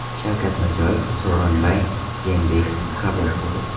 Shavkat Mirziyoyev Sooronbay Jeenbekovni qabul qildi.